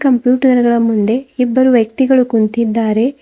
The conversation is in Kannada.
ಕಂಪ್ಯೂಟರ್ ಗಳ ಮುಂದೆ ಇಬ್ಬರು ವ್ಯಕ್ತಿಗಳು ಕುಂತಿದ್ದಾರೆ.